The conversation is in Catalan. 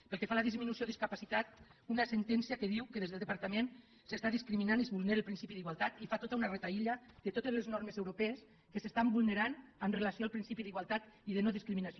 pel que fa a la disminució o discapacitat una sentència que diu que des del departament s’està discriminant i es vulnera el principi d’igualtat i fa tota un reguitzell de totes les normes europees que s’estan vulnerant amb relació al principi d’igualtat i de no discriminació